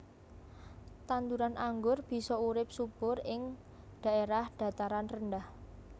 Tanduran anggur bisa urip subur ing dhaèrah dhataran rendah